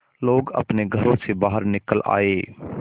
लोग अपने घरों से बाहर निकल आए